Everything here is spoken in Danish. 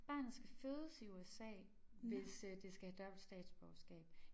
Barnet skal fødes i USA hvis øh det skal have dobbelt statsborgerskab